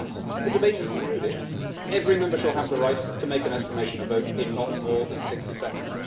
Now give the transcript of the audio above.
This says that once the debate has concluded, every Member shall have the right to make an explanation of vote in not more than 60 seconds.